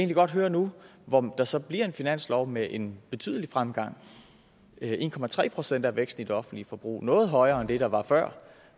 godt høre nu hvor der så bliver en finanslov med en betydelig fremgang en procent er væksten i det offentlige forbrug altså noget højere end det der var før